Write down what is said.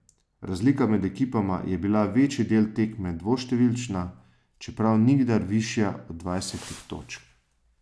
Razlika med ekipama je bila večji del tekme dvoštevilčna, čeprav nikdar višja od dvajsetih točk.